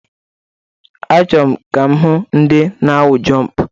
Achọrọ m ka m hụ ndị na-awụ jọmp.